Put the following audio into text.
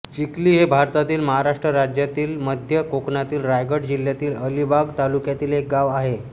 चिखली हे भारतातील महाराष्ट्र राज्यातील मध्य कोकणातील रायगड जिल्ह्यातील अलिबाग तालुक्यातील एक गाव आहे